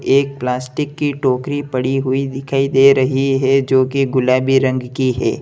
एक प्लास्टिक की टोकरी पड़ी हुई दिखाई दे रही है जो कि गुलाबी रंग की है।